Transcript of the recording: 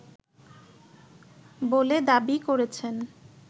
বলে দাবি করেছেন